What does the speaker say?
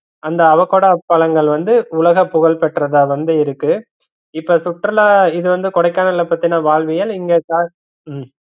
அந்த அவக்கோடா பழங்கள் வந்து உலக புகழ்பெற்றதா வந்து இருக்கு இப்ப சுற்றுலா இது வந்து கொடைக்கானல்ல பாத்தேன்னா வாழ்வியல் இங்க உம்